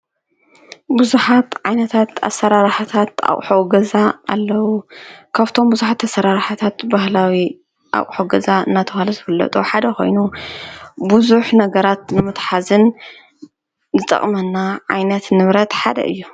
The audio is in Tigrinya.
ብዙኃት ዓይነታት ኣሠራራህታት ኣቝሖወገዛ ኣለዉ ካፍቶም ብዙኃት ኣሠራርኃታት በህላዊ ኣቝሖገዛ እናተዋለ ዘብለጡ ሓደ ኾይኑ ብዙኅ ነገራት ንሙትሓዝን ዘጠቕመና ዓይነት ንብረት ሓደ እዩ።